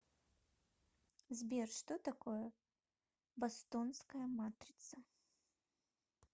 сбер что такое бостонская матрица